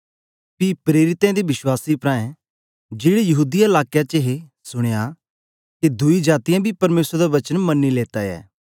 पी प्रेरितें ते विश्वासी प्राऐं जेड़े यहूदीया लाकें च हे सुनया के दुई जातीयें बी परमेसर दा वचन मनी लेता ऐ